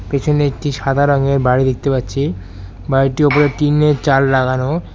পেছনে একটি সাদা রঙের বাড়ি দেখতে পাচ্ছি বাড়িটির উপরে টিনের চাল লাগানো।